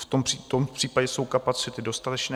V tom případě jsou kapacity dostatečné.